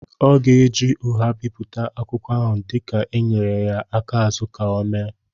ọ ga-eji ụgha bipụta akwụkwọ ahụ dika e nyere ya aka azụ ka ọ méé